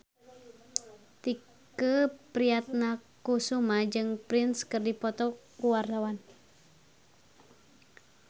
Tike Priatnakusuma jeung Prince keur dipoto ku wartawan